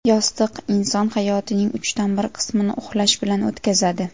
Yostiq Inson hayotining uchdan bir qismini uxlash bilan o‘tkazadi.